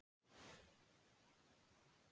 Líklegast á næstu dögum